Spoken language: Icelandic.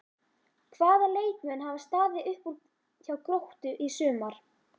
Hvaða leikmenn hafa staðið upp úr hjá Gróttu í sumar?